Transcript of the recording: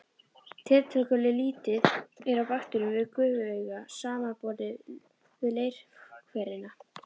Tiltölulega lítið er af bakteríum við gufuaugu samanborið við leirhverina.